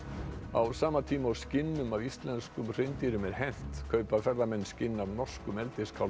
á sama tíma og skinnum af íslenskum hreindýrum er hent kaupa ferðamenn skinn af norskum